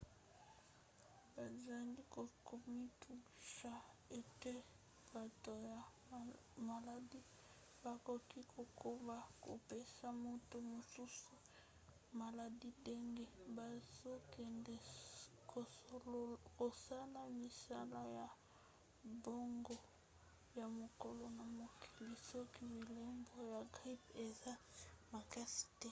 bazali komitungisa ete bato ya maladi bakoki kokoba kopesa bato mosusu maladi ndenge bazokende kosala misala na bango ya mokolo na mokoli soki bilembo ya grippe eza makasi te